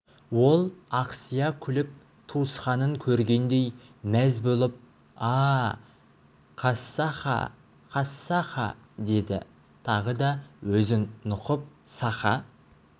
ол ақсия күліп туысқанын көргендей мәз болып а-а қассаха қассаха деді тағы да өзін нұқып саха